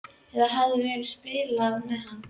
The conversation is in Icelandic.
Eða hafði hún verið að spila með hann?